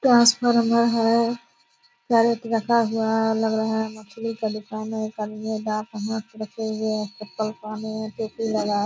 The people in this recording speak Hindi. ट्रांसफार्मर है कैरैट रखा हुआ है लग रहा है मछली का दुकान है एक आदमी हाथ रखे हुए है चप्पल पहने है टोपी लगाए --